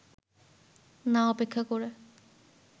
না অপেক্ষা করে